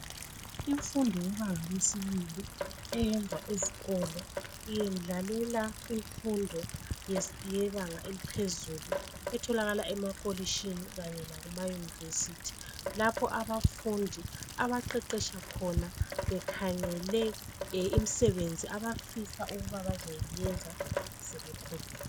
imfundo yebnga lesibili eyenzwa esikoloiyendlalela imfundo yebanga eliphezulu etholakala emapholishini lesema univesithi lapho abafundi abaqeqetsha khona bekhangele imisebenzi bafisa ukuyenza sebekhulile